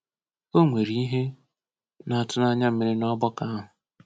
O nwere ihe na-atụ n’anya mere n'ọgbakọ ahụ.